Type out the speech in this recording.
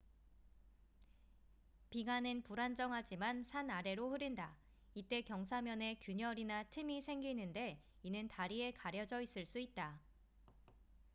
빙하는 불안정하지만 산 아래로 흐른다 이때 경사면에 균열이나 틈이 생기는데 이는 다리에 가려져 있을 수 있다